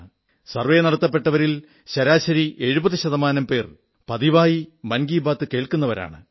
survey നടത്തപ്പെട്ടവരിൽ ശരാശരി 70 ശതമാനം പേർ പതിവായി മൻ കീ ബാത് കേൾക്കുന്നവരാണ്